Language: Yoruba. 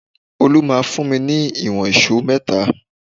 Olu máa fún mi ìwọ̀n èṣó mẹ́ta